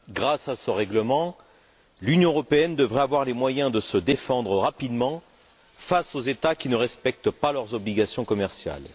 Grâce à ce règlement, l'Union européenne devrait avoir les moyens de se défendre rapidement face aux États qui ne respectent pas leurs obligations commerciales.